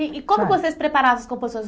E e como que vocês preparavam as composições?